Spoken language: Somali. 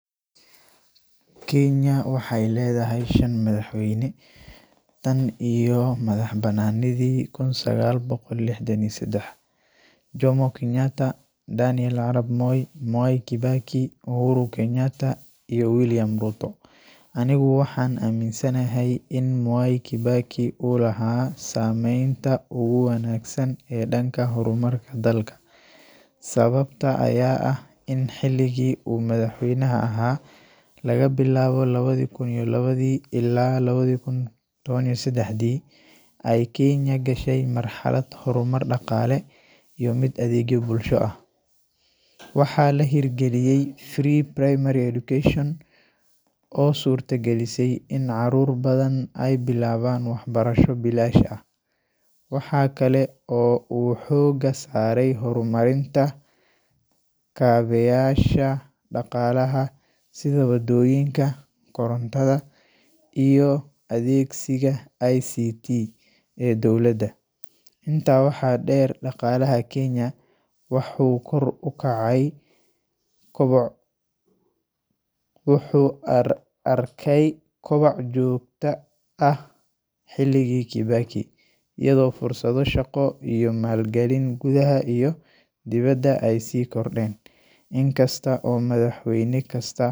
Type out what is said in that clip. Kenya waxay leedahay shan madaxweyne tan iyo madaxbannaanidii 1963: Jomo Kenyatta, Daniel Arap Moi, Mwai Kibaki, Uhuru Kenyatta, iyo William Ruto. Anigu waxaan aaminsanahay in Mwai Kibaki uu lahaa saameynta ugu wanaagsan ee dhanka horumarka dalka. Sababta ayaa ah in xilligii uu madaxweynaha ahaa, laga bilaabo 2002 ilaa 2013, ay Kenya gashay marxalad horumar dhaqaale iyo mid adeegyo bulsho ah. Waxaa la hirgeliyay Free Primary Education oo suurtagelisay in carruur badan ay bilaabaan waxbarasho bilaash ah. Waxa kale oo uu xoogga saaray horumarinta kaabeyaasha dhaqaalaha sida wadooyinka, korontada, iyo adeegsiga ICT ee dowladda. Intaa waxaa dheer, dhaqaalaha Kenya wuxxu kor ukacay wuxuu arkay koboc joogto ah xilligii Kibaki, iyadoo fursado shaqo iyo maalgelin gudaha iyo dibaddaba ay sii kordheen. Inkasta oo madaxweyne kasta.